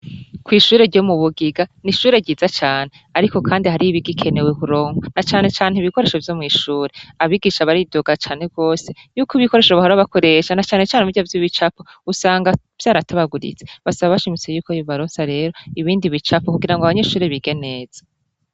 Kw'ishure ryo mu bugiga, ni ishure ryiza cane. Ariko kandi hariho ibigikenewe kuronkwa, na cane cane ibikoresho vyo mw'ishure. Abigisha baridoga cane gose, yuko ikikoresho bahora bakoresha, na cane cane birya vy'ibicapo, usanga vyaratabaguritse. Basaba bashimitse yuko yobaronsa rero, ibindi bicapo, kugira ngo abanyeshure bige neza.